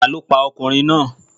Àrá lọ pa ọkùnrin náà.